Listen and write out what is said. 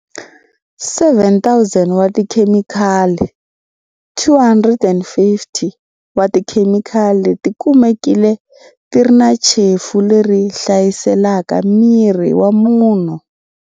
7 000 wa tikhemikhali, 250 wa tikhemikhali leti kumekile ti ri na chefu leyi hlaselaka miri wa munhu.